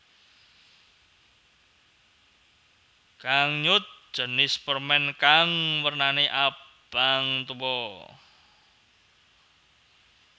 Gangnyeot jinis permen kang wernane abang tuwa